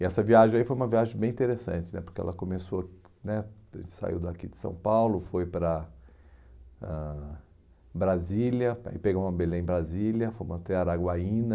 E essa viagem foi uma viagem bem interessante né, porque ela começou né, a gente saiu daqui de São Paulo, foi para ãh Brasília, pegou uma Belém-Brasília, fomos até Araguaína.